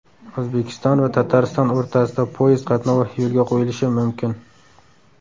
O‘zbekiston va Tatariston o‘rtasida poyezd qatnovi yo‘lga qo‘yilishi mumkin.